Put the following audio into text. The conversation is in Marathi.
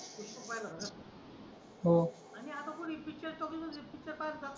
पुष्पा पाहिला होता का आता कोणी पिक्चर करतच नाही कोणी पाहिला जात नाही